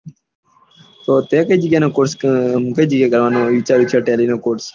તો તે કઈ જગ્યા નું કોર્ષ આ જાય જગ્યા કરવાનું વિચારુયું છે ટેલી નું કોર્ષ